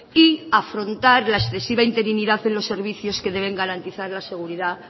y afrontar la excesiva interinidad en los servicios que deben garantizar la seguridad